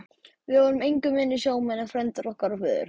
Við vorum engu minni sjómenn en frændur okkar og feður.